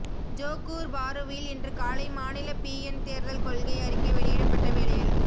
Johor பாருவில் இன்று காலை மாநில பிஎன் தேர்தல் கொள்கை அறிக்கை வெளியிடப்பட்ட வேளையில்